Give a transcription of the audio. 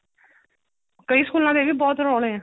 ਕਈ ਸਕੂਲਾਂ ਦੇ ਇਹ ਵੀ ਬਹੁਤ ਰੋਲੇ ਆ